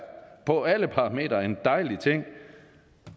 på alle parameter en dejlig ting